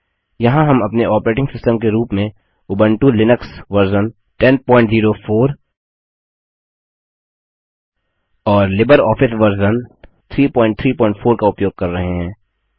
यहाँ हम अपने ऑपरेटिंग सिस्टम के रूप में उबंटु लिनक्स वर्जन 1004 और लिबरऑफिस वर्जन 334 का उपयोग कर रहे हैं